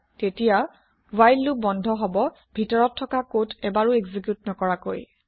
তেতিয়া while loop বন্ধ হব ভিতৰত থকা কদ এবাৰো এক্জি্ক্যুত নকৰাকৈ